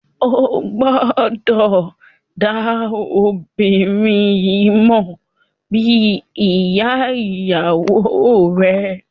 O gbọdọ da obinrin yii mọ bi iya iyawo rẹ.